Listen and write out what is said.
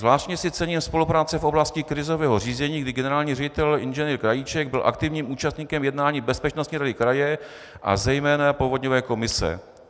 Zvláště si cením spolupráce v oblasti krizového řízení, kdy generální ředitel inženýr Krajíček byl aktivním účastníkem jednání Bezpečnostní rady kraje a zejména povodňové komise.